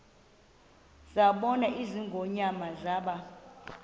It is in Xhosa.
zabona ingonyama zaba